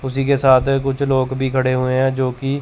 उसी के साथ है कुछ लोग भी खड़े हुए हैं जो की--